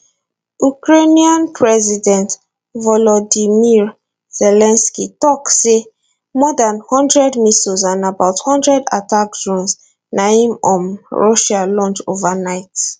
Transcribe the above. ukrainian president volodymyr zelensky tok say more dan hundred missiles and about hundred attack drones na im um russia launch overnight